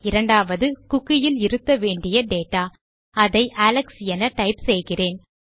இரண்டாவது குக்கி இல் இருத்த வேண்டிய டேட்டா அதை அலெக்ஸ் என டைப் செய்கிறேன்